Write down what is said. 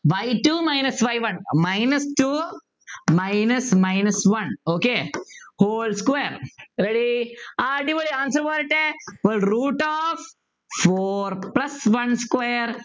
y two minus y one minus two minus minus one okay whole square ready അടിപൊളി answer പോരട്ടെ അപ്പോൾ root of four plus one square